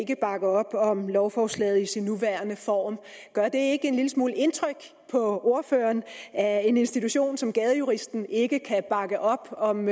kan bakke op om lovforslaget i sin nuværende form gør det ikke en lille smule indtryk på ordføreren at en institution som gadejuristen ikke kan bakke op om